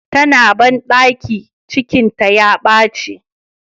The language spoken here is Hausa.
Tana bandaki ,cikinta ya baci.